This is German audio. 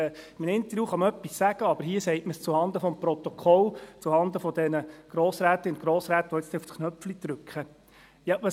In einem Interview kann man einfach etwas sagen, aber hier sagt man es zuhanden des Protokolls, zuhanden der Grossrätinnen und Grossräte, die jetzt gleich aufs Knöpfchen drücken werden.